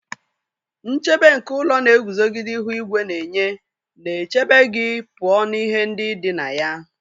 Nchedo nke ụlọ na-eguzogide ihu igwe na-enye, na-echebe gị pụọ na ihe ndị dị na ya